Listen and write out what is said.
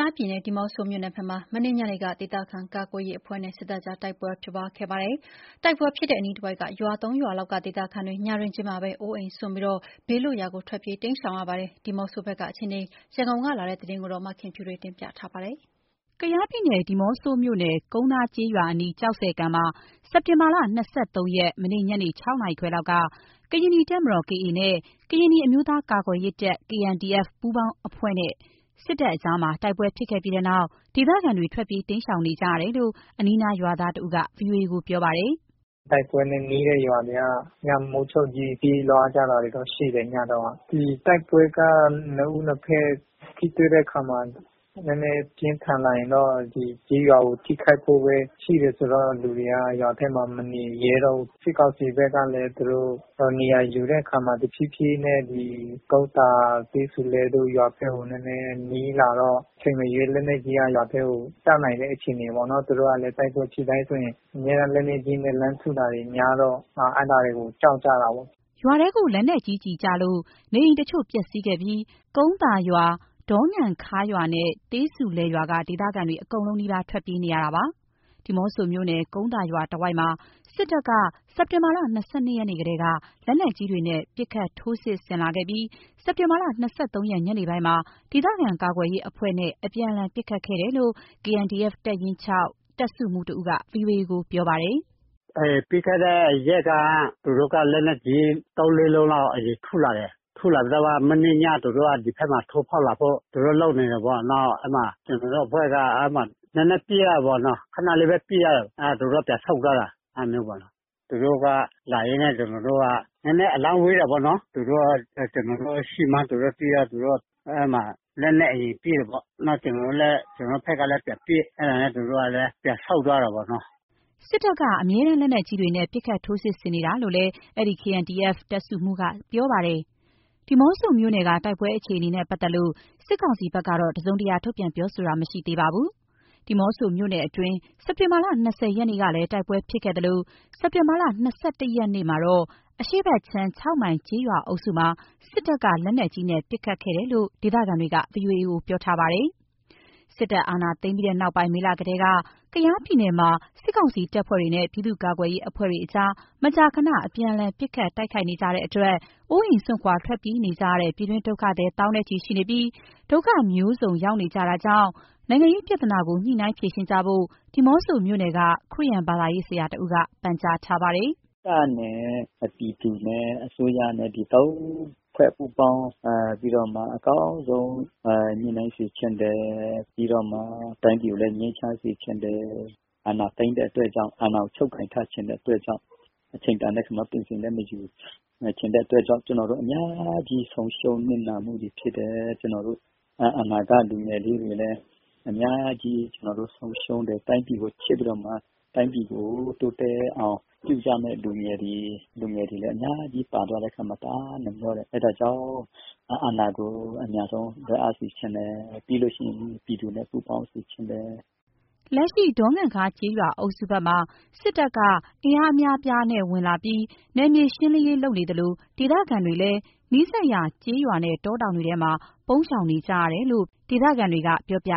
ားပြည်နယ်၊ ဒီးမော့ဆိုမြို့နယ်ဘက်မှာ မနေ့ညနေက ဒေသခံကာကွယ်ရေးအဖွဲ့နဲ့ စစ်တပ်ကြား တိုက်ပွဲဖြစ်ခဲ့ပါတယ်။ တိုက်ပွဲဖြစ်တဲ့အနီးတဝိုက် ရွာ ၃ ရွာလောက်က ဒေသခံတွေ ညတွင်းချင်းမှာပဲအိုးအိမ်စွန့်ပြီး ဘေးလွတ်ရာကို ထွက်ပြေးတိမ်းရှောင်နေကြရပါတယ်။ ဒီးမော့ဆိုဘက်ကအခြေအနေ ရန်ကုန်ကလာတဲ့သတင်းကို မခင်ဖြူထွေးကပြောပြပါမယ်။ ကယားပြည်နယ်၊ ဒီးမော့ဆိုမြို့နယ်၊ ကုန်းသားကျေးရွာအနီး ကျောက်ဆည်ကန် မှာ စက်တင်ဘာလ ၂၃ ရက် မနေ့ ညနေ ၆ နာရီခွဲလောက်က ကရင်နီတပ်မတော် နဲ့ ကရင်နီအမျိုးသားကာကွယ်ရေးတပ် ပူးပေါင်းအဖွဲ့နဲ့စစ်တပ်ကြား တိုက်ပွဲဖြစ်ခဲ့ပြီးတဲ့နောက် ဒေသခံတွေ ထွက်ပြေး ပုန်းရှောင်နေတယ်လို့ အနီးနားရွာသွားတဦးက ဗွီအိုအေကိုပြောပါတယ်။ “တိုက်ပွဲနဲ့ နီးတဲ့ ရွာတွေက ညမိုးချုပ်ကြီး ပြေးလွှားတာတွေတော့ရှိတယ် ညတုန်းက၊ ဒီတိုက်ပွဲက နှစ်ဦးနှစ်ဘက် ထိတွေ့တဲ့အခါမှာ နည်းနည်းပြင်းထန်လာရင်တော့ ဒီကျေးရွာကို ထိခိုက်ဖို့ပဲရှိတယ်ဆိုတော့ လူတွေက ရွာထဲမှာ မနေရဲတော့ဘူး၊ စစ်ကောင်စီဘက်ကလည်း သူတို့နေရာယူတဲ့အခါမှာ တဖြေးဖြေးနဲ့ ဒီကုန်းသာ၊ သေးဆူလယ်တို့ ရွာဘက်ကို နည်းနည်းနီးလာတော့ အချိန်မရွေး လက်နက်ကြီးက ရွာထဲကို ကျနိုင်တဲ့အခြေအနေပေါ့နော်၊ သူတို့ကလည်း တိုက်ပွဲဖြစ်တိုင်းဆိုရင် အမြဲတမ်းလက်နက်ကြီးနဲ့ လှမ်းထုတာတွေ များတော့ အဲ့ဒါတွေကို ကြောက်ကြတာပေါ့။” ရွာထဲ လက်နက်ကြီးကျည်ကျလို့ နေအိမ်တချို့ ပျက်စီးခဲ့ပြီး ကုန်းသာရွာ၊ ဒေါငံခါးရွာနဲ့ သေးဆူလယ်ရွာက ဒေသခံတွေ အကုန်လုံးနီးပါး ထွက်ပြေးနေတာပါ။ ဒီးမော့ဆိုမြို့နယ်၊ ကုန်းသာရွာတဝိုက်မှာ စစ်တပ်က စက်တင်ဘာ ၂၂ ရက်နေ့ ကတည်းက လက်နက်ကြီးတွေနဲ့ ပစ်ခတ်ထိုးစစ်ဆင်လာပြီး စက်တင်ဘာ ၂၃ ရက် ညနေပိုင်းမှာ ဒေသခံကာကွယ်ရေးအဖွဲ့နဲ့ အပြန်အလှန် ပစ်ခတ်ခဲ့တယ်လို့ KNDF တပ်ရင်း တပ်စုမှူးတဦးက VOA ကို ပြောပါတယ်။ “ပြီးခဲ့တဲ့ရက်က သူတို့က လက်နက်ကြီး သုံး- လေးလုံးလောက် အရင်ထုလာတယ်၊ ထုလာပြီးတော့မှ မနေ့ည သူတု့ိက ဒီဘက်မှာ ထိုးဖောက်ဖို့ သူတို့လုပ်နေတာပေါ့၊ နောက်အဲဒီမှာ ကျနော်တို့အဖွဲ့က နည်းနည်းပစ်ရတာပေါ့နော်။ ခဏလေးပဲ ပစ်ရတယ်။ သူတို့ပြန်ဆုတ်သွားတာ အဲ့ဒါမျိုးပေ့ါနော်၊ သူတို့က လာရင် ကျနော်တု့ိက နည်းနည်းအလှမ်းဝေးတာပေါ့နော်။ ကျနော်တို့ရှိမှန်း သူတို့သိတော့ လက်နက်အရင်ပစ်တယ်ပေါ့။ နောက် ကျနော်တို့ဘက်ကလည်း ပြန်ပစ်။ အဲ့ဒါနဲ့ သူတို့ကလည်း ပြန်ဆုတ်သွားတာပေါ့နော်။” စစ်တပ်က လက်နက်ကြီးတွေနဲ့ အမြဲတမ်း ပစ်ခတ်ထိုးစစ်ဆင်နေတာလို့လည်း အဲဒီ KNDF တပ်စုမှူးက ဆက်ပြောပါတယ်။ ဒီးမော့ဆိုမြို့နယ်က တိုက်ပွဲအခြေအနေနဲ့ပတ်သက်လို့ စစ်ကောင်စီဘက်က တစုံတရာ ထုတ်ပြန်ပြောဆိုတာမရှိသေးပါဘူး။ ဒီးမော့ဆိုမြို့နယ်တွင်း စက်တင်ဘာ ၂၀ ရက်နေ့ကလည်း တိုက်ပွဲဖြစ်ခဲ့သလို စက်တင်ဘာ ၂၁ ရက်နေ့မှာတော့ အရှေ့ဘက်ခြမ်း ၆ မိုင်ကျေးရွာအုပ်စုမှာ စစ်တပ်က လက်နက်ကြီးနဲ့ ပစ်ခတ်ခဲ့တယ်လို့ ဒေသခံတွေက VOA ကို ပြောထားပါတယ်။ စစ်တပ်အာဏာသိမ်းပြီးနောက်ပိုင်း မေလကတည်းက ကယားပြည်နယ်မှာ စစ်ကောင်စီနဲ့ ပြည်သူ့ကာကွယ်ရေးအဖွဲ့တို့ မကြာခဏ အပြန်အလှန် ပစ်ခတ်တိုက်ခိုက်နေကြတဲ့အတွက် အိုးအိမ်စွန့် ထွက်ပြေးနေကြရတဲ့ ပြည်တွင်းဒုက္ခသည် သောင်းနဲ့ချီ ရှိနေပြီး ဒုက္ခအမျိုးမျိုး ရောက်နေကြရတာကြောင့် နိုင်ငံရေးပြဿနာကို ညှိနှိုင်းဖြေရှင်းကြဖို့ ဒီးမော့ဆိုမြို့နယ်က ခရစ်ယာန်ဘာသာရေးဆရာတဦးက ပန်ကြားပါတယ်။ “တပ်နဲ့ ပြည်သူနဲ့ အစိုးရနဲ့ သုံးဖွဲ့ပူးပေါင်းပြီးတော့မှ အကောင်းဆုံး ညှိနှိုင်းစေချင်တယ်၊ ပြီးတော့မှတိုင်းပြည်ကိုလည်း ငြိမ်းချမ်းစေချင်တယ်၊ အာဏာသိမ်းတဲ့အတွက်ကြောင့် အာဏာကိုချုပ်ကိုင်ထားချင်တဲ့အတွက်ကြောင့် အချိန်တိုင်းလည်း ပင်စင်မယူချင်တဲ့အတွက်ကြောင့် ကျနော်တု့ိအများကြီး ဆုံးရှုံးနစ်နာမှုတွေဖြစ်တယ်၊ ကျနော်တို့ အနာဂတ်လူငယ်လေးတွေလည်း အများကြီးဆုံးရှုံးတယ်။ တိုင်းပြည်ကိုချစ်ပြီးတော့မှ တိုင်းပြည်ကို တိုးတက်အောင် ပြုကြမယ့်လူငယ်တွေ လူငယ်တွေလည်း အများကြီးပါသွားတဲ့အခါမှာ တအားနှမျောတယ်၊ အဲ့ဒါကြောင့် အာဏာကိုအမြန်ဆုံးလွှဲအပ်စေချင်တယ်၊ ပြီးလို့ရှိရင် ပြည်သူနဲ့ ပူပေါင်းစေချင်တယ်။” လက်ရှိ ဒေါငံခါးကျေးရွာအုပ်စုဘက်မှာ စစ်တပ်က အင်အားအများအပြားဝင်လာပြီး နယ်မြေရှင်းလင်းရေးလုပ်နေသလို ဒေသခံတွေလည်း နီးစပ်ရာ ကျေးရွာနဲ့ တောတောင်တွေထဲမှာ ပုန်းရှောင်နေကြရတယ်လို့ ဒေသခံတွေကပြောပ